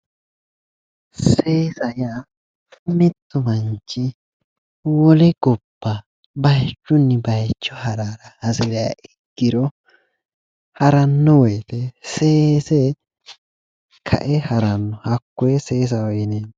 Seesa yaa mittu manchi wole gobba bayichunni bayicho hara hasiriha ikkiro haranno woyite seese ka'e haranno hakkoye seesaho yineemmo